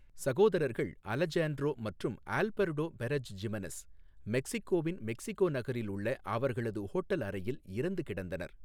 சகோதரர்கள் அலஜேண்ட்ரோ மற்றும் Alberto Perez Jimenez மெக்சிகோவின் மெக்சிகோ நகரில் உள்ள அவர்களது ஹோட்டல் அறையில் இறந்து கிடந்தனர்.